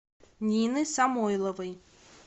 нины самойловой